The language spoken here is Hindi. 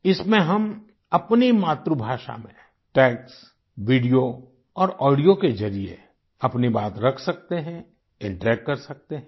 इसमें हम अपनी मातृभाषा में टेक्स्ट वीडियो और ऑडियो के जरिए अपनी बात रख सकते हैं इंटरैक्ट कर सकते हैं